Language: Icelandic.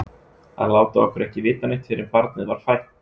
Að láta okkur ekki vita neitt fyrr en barnið var fætt!